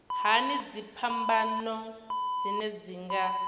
hani dziphambano dzine dzi nga